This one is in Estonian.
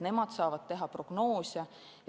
Nemad saavad teha prognoose.